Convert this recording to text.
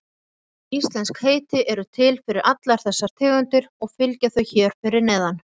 Íslensk heiti eru til fyrir allar þessar tegundir og fylgja þau hér fyrir neðan.